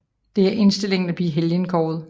Det er indstillingen til at blive helgenkåret